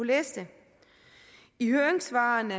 læse det i høringssvarene